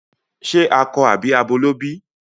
Ṣe akọ àbí abo ló bí?